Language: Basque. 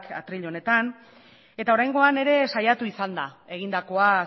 atril honetan eta oraingoan ere saiatu izan da egindakoa